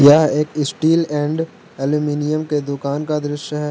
यह एक steel and aluminium के दुकान का दृश्य है।